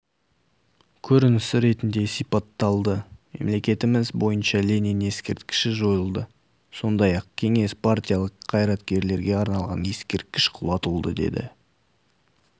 көрінісі ретінде сипатталды мемлекетіміз бойынша ленин ескерткіші жойылды сондай-ақ кеңестік-партиялық қайраткерлерге арналған ескерткіш құлатылды деді